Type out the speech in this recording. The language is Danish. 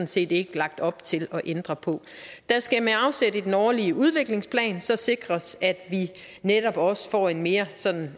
set ikke lagt op til at ændre på der skal med afsæt i den årlige udviklingsplan sikres at vi netop også får en mere sådan